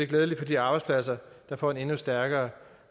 glædeligt for de arbejdspladser der får en endnu stærkere